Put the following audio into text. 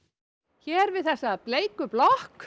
hér við þessa bleiku blokk